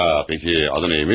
Ya, bəyəm, adı nə imiş?